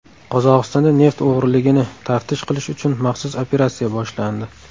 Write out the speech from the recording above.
Qozog‘istonda neft o‘g‘riligini taftish qilish uchun maxsus operatsiya boshlandi.